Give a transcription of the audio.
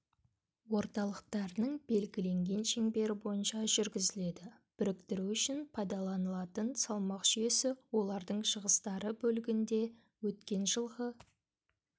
орталықтарының белгіленген шеңбері бойынша жүргізіледі біріктіру үшін пайдаланылатын салмақ жүйесі олардың шығыстары бөлігінде өткен жылғы